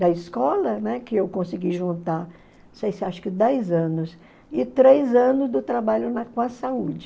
da escola, né, que eu consegui juntar, não sei se acho que dez anos, e três anos do trabalho na com a saúde.